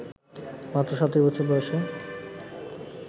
মাত্র ৩৭ বছর বয়সে